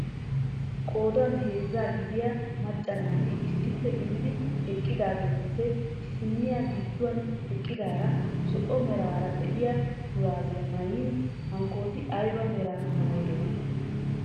Qoodan heezzaa gidiyaa macca naati issippe gididi eqqidaagetuppe issiniyaa gidduwaan eqqidaara zo'o meraara de'iyaa shurabiyaa maayin hankooti ayba meraa maayidonaa?